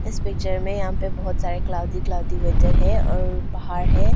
इस पिक्चर में यहां पर बहुत सारे कलाउडी कलाउडी वेदर है और पहाड़ है।